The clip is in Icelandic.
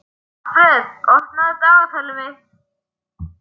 Alfreð, opnaðu dagatalið mitt.